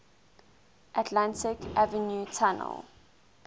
atlantic avenue tunnel